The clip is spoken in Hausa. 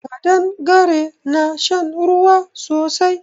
Ƙadangare na shan ruwa sosai